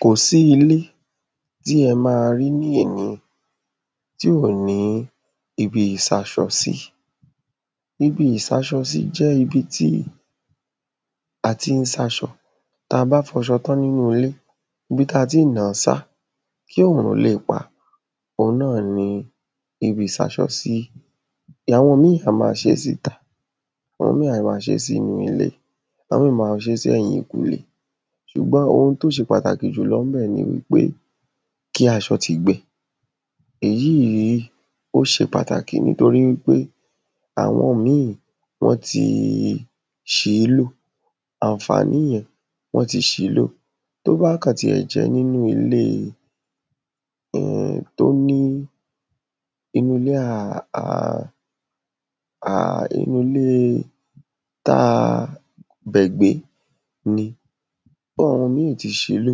kòsí ilé tí ẹ ma rí ní èní tí ò ní ibi ìsásọsí. ibi ìsáṣọsí jẹ́ ibi tí a tín sáṣọ. tabá fọṣo tán nínú ilé, ibi ta tín nàá sá kí òrun leè pá òun náà ni ibi ìsáṣọsí. àwọn míì á ma ṣé síta, àwọn míì á ma ṣé sí inú ilé, àwọn míì ma ṣé sí ẹ̀yìnkùlé, ṣùgbọ́n ohun tó ṣe pàtàkì jùlọ níbẹ̀ ní wípé kí aṣọ́ ti gbẹ. èyíì í ó ṣe pàtàkì nítorí wípé àwọn míì wọ́n ti ṣìílò, ànfàní yẹn wọ́n ti ṣìílò, tó bá kàn tiẹ̀ jẹ́ nínu ilée tó ní inulé à à à à, inulée táa bẹ̀ gbé ni, ohùn míì ti ṣilé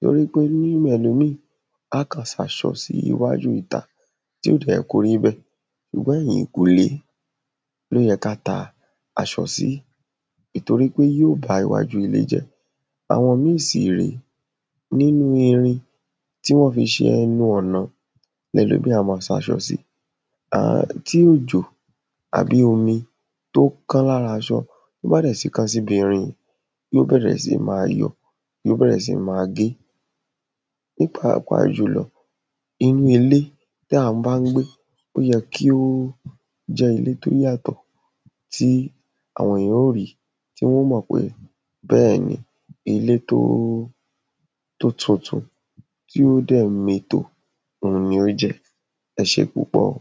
tórípé nílé ẹlòmíì á kàn sáṣọ sí iwújú ìta tí ò dẹ̀ yẹ kórí bẹ́ẹ̀, ṣùgbọ́n ẹ̀yìnkùlé ló yẹ ká ta aṣọ sí tìtorí pé yóò ba iwájú ilé jẹ́. àwọn míì sì rèé nínu irin tí wọ́n fi ṣe ẹnu ọ̀nà lẹlòmíì á ma sáṣọ sí. tí òjò àbí omi tó kán lára aṣọ, tó bá dẹ̀ ti kán síbi irin, yíò bẹ̀rẹ̀ sí ma yọ, yíòbẹ̀rẹ̀ sí ma gé, ní pàápàá jùlọ inú ilé tí à bán gbé ó yẹ kí ó jẹ́ ilé tó yàtọ̀, tí àwọn éyàn ó rí tí wọ́n ó mọ̀ pé bẹ́ẹ̀ni, ilé tóó tó tuntun tí ó dẹ̀ mètò òun ni ó jẹ́. ẹṣé púpọ̀.